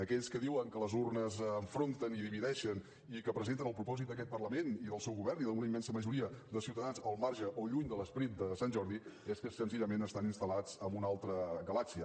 aquells que diuen que les urnes enfronten i divideixen i que presenten el propòsit d’aquest parlament i del seu govern i d’una immensa majoria de ciutadans al marge o lluny de l’esperit de sant jordi és que senzillament estan instal·lats en una altra galàxia